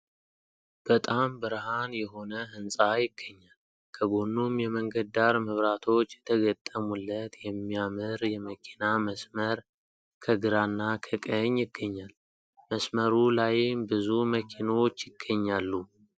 በጣም ብርሃን የሆነ ህንፃ ይገኛል ። ከጎኑም የመንገድ ዳር መብራቶች የተገጠሙለት የሚያምር የመኪና መስመር ከግራና ከቀኝ ይገኛል ።መስመሩ ላይም ብዙ መኪኖች ይገኛሉ ።